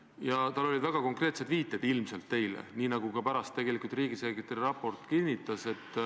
Tal olid ilmselt väga konkreetsed viited, nii nagu ka pärast riigisekretäri raport kinnitas.